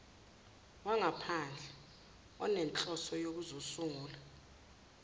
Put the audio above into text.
wangaphandle onenhloso yokuzosungula